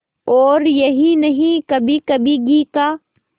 और यही नहीं कभीकभी घी का